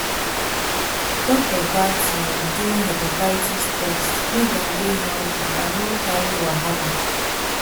doctors gats um do hepatitis test make dem dey healthy and no carry wahala